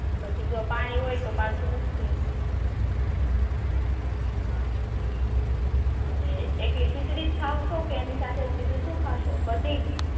પછી જો પાણી હોય તો પાછૂ મુકજે હા અને એકલી ખીચડી જ ખાવ છો કે એની સાથે બીજુ શું ખાસો કઢી